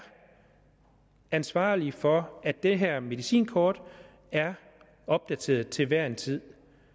ansvarlig for at det her medicinkort er opdateret til hver en tid